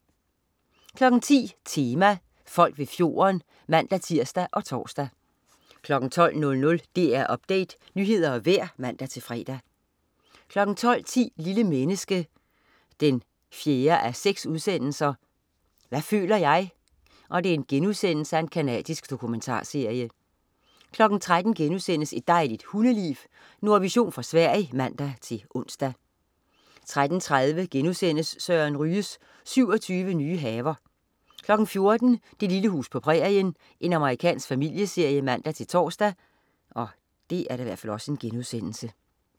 10.00 Tema: Folk ved fjorden (man-tirs og tors) 12.00 DR Update. Nyheder og vejr (man-fre) 12.10 Lille menneske 4:6. Hvad føler jeg?* Canadisk dokumentarserie 13.00 Et dejligt hundeliv.* Nordvision fra Sverige (man-ons) 13.30 Søren Ryge. 27 nye haver* 14.00 Det lille hus på prærien. Amerikansk familieserie (man-tors)